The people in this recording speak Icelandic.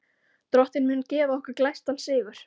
Drottinn mun gefa okkur glæstan sigur.